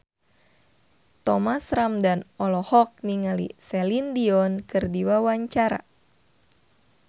Thomas Ramdhan olohok ningali Celine Dion keur diwawancara